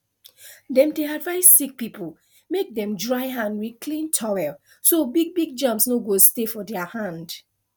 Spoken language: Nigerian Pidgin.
dem dey advise sick people make dem dry hand with clean towel so big big germs no go stay for their hand